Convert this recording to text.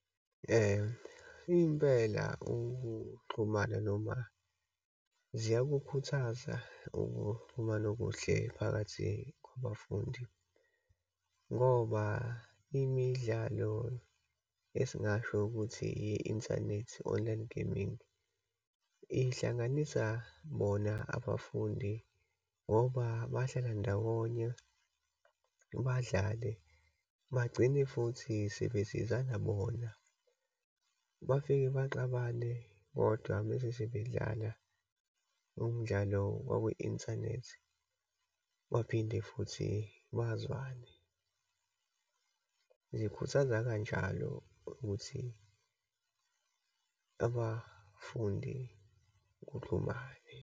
Impela ukuxhumana noma ziyakukhuthaza ukuxhumana okuhle phakathi kwabafundi, ngoba imidlalo esingasho ukuthi yi-inthanethi online gaming, ihlanganisa bona abafundi ngoba bahlala ndawonye, badlale, bagcine futhi sebesizana bona. Bafike baxabane bodwa uma sebedlala umdlalo wakwi-inthanethi, baphinde futhi bazwane. Zikhuthaza kanjalo ukuthi abafundi kuxhumane.